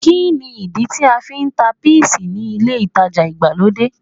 Kí ni ìdí tí a fi ń ta píìsì ni ilé-ìtajà ìgbàlódé?